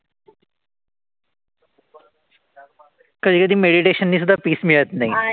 कधी-कधी meditation नि सुद्धा peace मिळत नाई.